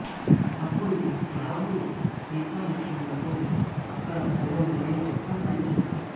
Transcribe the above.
అప్పుడు రాముడు సీతా లక్ష్మణులతో ఆక్కడ పూర్వం జరిగిన వృత్తాంతాన్ని చెబుతాడు